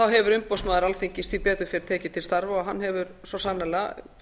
hefur umboðsmaður alþingis því betur fer tekið til starfa og hann hefur svo sannarlega